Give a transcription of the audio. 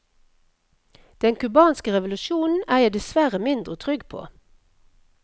Den cubanske revolusjonen er jeg dessverre mindre trygg på.